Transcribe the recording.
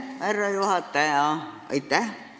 Härra juhataja!